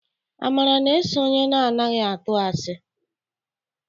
Amara na-eso onye na anaghị atụ asi